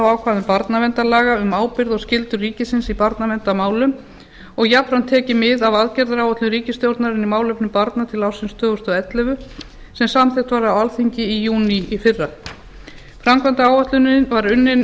ákvæðum barnaverndarlaga um ábyrgð og skyldur ríkisins í barnaverndarmálum og jafnframt tekið mið af aðgerðaáætlun ríkisstjórnarinnar í málefnum barna til ársins tvö þúsund og ellefu sem samþykkt var á alþingi í júní í fyrra framkvæmdaáætlunin var unnin